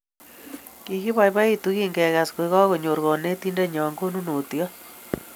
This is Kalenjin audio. Kogipoipoitu kingegas koek konyor kanetindennyo konunot